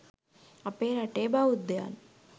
අපේ රටේ බෞද්ධයන්